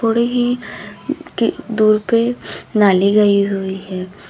थोड़े ही की दूर पे नाली गई हुई है।